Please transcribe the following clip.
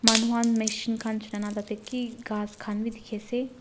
Manu khan machine khan tate ki ghas khan bi dekhi ase.